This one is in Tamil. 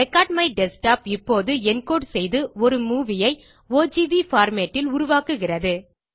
ரெக்கார்ட்மைடஸ்க்டாப் இப்போது என்கோடு செய்து ஒரு மூவி ஐ ஓஜிவி பார்மேட் ல் உருவாக்குகிறது